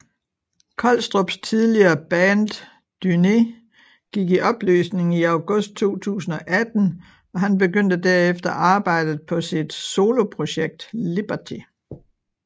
Kolstrups tidligere band Dúné gik i opløsning i August 2018 og han begyndte derefter arbejdet på sit soloprojekt Liberty